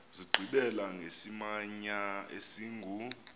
zigqibela ngesimamya esingu